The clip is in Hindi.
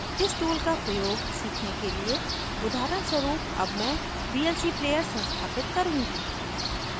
इस tool का प्रयोग सीखने के लिए उदाहरणस्वरुप अब मैं vlc player संस्थापित करुँगी